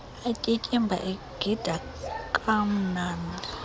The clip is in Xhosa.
atyityimba egida kwamnandi